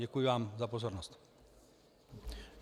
Děkuji vám za pozornost.